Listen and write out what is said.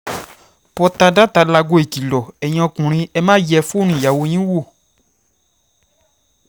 pọ́tádatà láago ìkìlọ̀ ẹ̀yin ọkùnrin ẹ máa yẹ fóònù àwọn ìyàwó yín wò ó